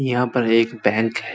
यहाँ पर एक बैंक है।